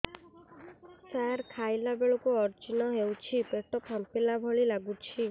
ସାର ଖାଇଲା ବେଳକୁ ଅଜିର୍ଣ ହେଉଛି ପେଟ ଫାମ୍ପିଲା ଭଳି ଲଗୁଛି